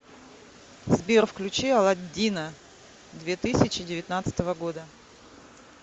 сбер включи аладдина две тысячи девятнадцатого года